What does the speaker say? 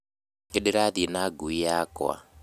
Nĩndĩrathiĩ na ngui yakwa